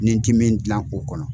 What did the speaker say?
Ni n ti min dilan o kɔnɔ.